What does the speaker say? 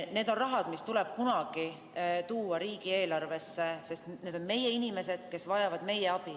See on raha, mis tuleb kunagi tuua riigieelarvesse, sest need on meie inimesed, kes vajavad meie abi.